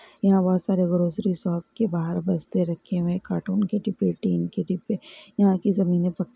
यहाँ बहुत सारे ग्रॉसारी शॉप के बाहर बस्ते रखे हुए हैं कार्टून के डिब्बे टिन के डिब्बे यहाँ की ज़मीने ब--